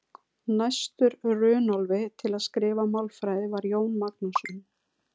Næstur Runólfi til að skrifa málfræði var Jón Magnússon.